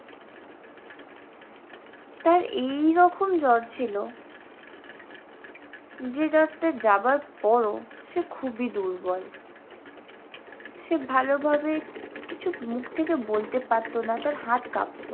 তার এইই রকম জ্বর ছিল যে জ্বরটা যাবার পরও সে খুবই দুর্বল। সে ভালোভাবে কিছু মুখ থেকে বলতে পারতে না তার হাত কাঁপতো।